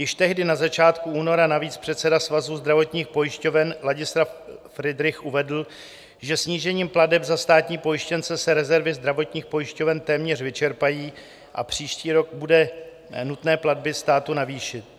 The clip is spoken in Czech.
Již tehdy na začátku února navíc předseda Svazu zdravotních pojišťoven Ladislav Friedrich uvedl, že snížením plateb za státní pojištěnce se rezervy zdravotních pojišťoven téměř vyčerpají a příští rok bude nutné platby státu navýšit.